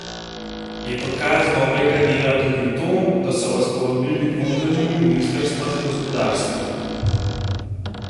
Je dokaz dobrega dela tudi to, da so vas povabili k vodenju ministrstva za gospodarstvo?